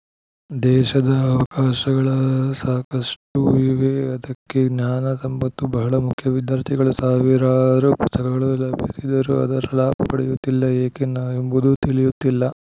ದೇಶದ ಅವಕಾಶಗಳ ಸಾಕಷ್ಟುಇವೆ ಅದಕ್ಕೆ ಜ್ಞಾನ ಸಂಪತ್ತು ಬಹಳ ಮುಖ್ಯ ವಿಧ್ಯಾರ್ಥಿಗಳು ಸಾವಿರಾರು ಪುಸ್ತಕಗಳು ಲಭಿಸಿದರು ಅದರ ಲಾಭ ಪಡೆಯುತ್ತಿಲ್ಲ ಏಕೆ ಎಂಬುದು ತಿಳಿಯುತ್ತಿಲ್ಲ